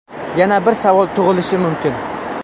Yana bir savol tug‘ilishi mumkin?